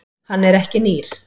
Hann er ekki nýr.